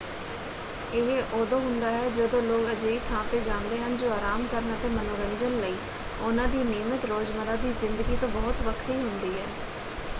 ਇਹ ਉਦੋਂ ਹੁੰਦਾ ਹੈ ਜਦੋਂ ਲੋਕ ਅਜਿਹੀ ਥਾਂ 'ਤੇ ਜਾਂਦੇ ਹਨ ਜੋ ਆਰਾਮ ਕਰਨ ਅਤੇ ਮਨੋਰੰਜਨ ਲਈ ਉਹਨਾਂ ਦੀ ਨਿਯਮਤ ਰੋਜ਼ਮਰ੍ਹਾ ਦੀ ਜ਼ਿੰਦਗੀ ਤੋਂ ਬਹੁਤ ਵੱਖਰੀ ਹੁੰਦੀ ਹੈ।